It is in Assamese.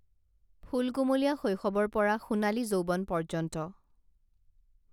ফুলকুমলীয়া শৈশৱৰ পৰা সোনালী যৌৱন পৰ্যন্ত